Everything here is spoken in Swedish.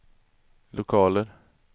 lokaler